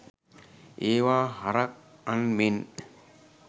ඒවා හරක් අන් මෙන්